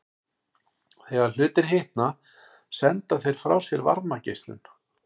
Þegar hlutir hitna senda þeir frá sér varmageislun.